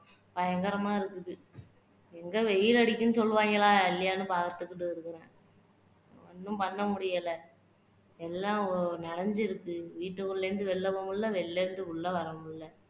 பயங்கரமா இருக்குது எங்க வெயில் அடிக்குதுன்னு சொல்லுவாங்களா இல்லையான்னு பாத்துக்கிட்டு இருக்குறேன் ஒண்ணும் பண்ன முடியல. எல்லாம் ஒரு ஒரு நிறைஞ்சு இருக்கு வீட்டுக்குள்ள இருந்து வெளிய போக முடியல, வெளிய இருந்து உள்ளே வர முடியல